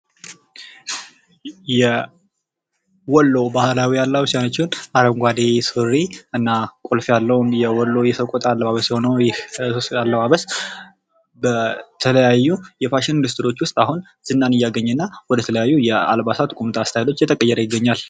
የወሎ ባህላዊ አለባበስ ያችን አረንጓዴ ሱሪ እና ቁልፍ ያለውን የወሎ የሰቆጣ አለባበስ የሆነው ይህ አለባበስ በተለያዩ የፋሽን ኢንዱስትሪዎች ውስጥ አሁን ዝናን እያገኘና ወደ ተለያዩ የአልባሳት ቁምጣ ስታይሎች እየተቀየረ ይገኛል ::